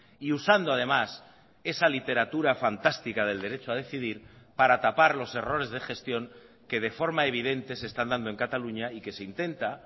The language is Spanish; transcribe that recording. y usando además esa literatura fantástica del derecho a decidir para tapar los errores de gestión que de forma evidente se están dando en cataluña y que se intenta